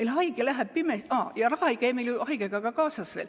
Raha ei käi meil ju veel haigega kaasas.